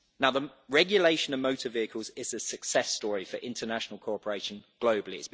The regulation of motor vehicles is a success story for international cooperation globally.